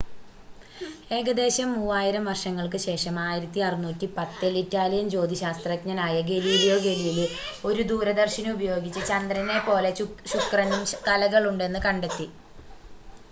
ഏകദേശം മൂവായിരം വർഷങ്ങൾക്ക് ശേഷം 1610-ൽ ഇറ്റാലിയൻ ജ്യോതിശാസ്ത്രജ്ഞനായ ഗലീലിയോ ഗലീലി ഒരു ദൂരദർശിനി ഉപയോഗിച്ച് ചന്ദ്രനെ പോലെ ശുക്രനും കലകളുണ്ടെന്ന് കണ്ടെത്തി